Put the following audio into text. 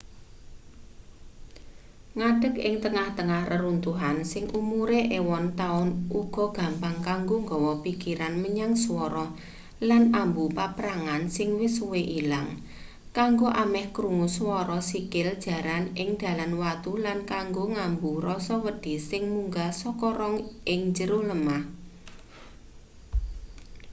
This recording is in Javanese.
ngadek ing tengah-tengah reruntuhan sing umure ewon taun uga gampang kanggo nggawa pikiran menyang swara lan ambu paprangan sing wis suwe ilang kanggo ameh krungu swara sikil jaran ing dalan watu lan kanggo ngambu rasa wedi sing munggah saka rong ing jero lemah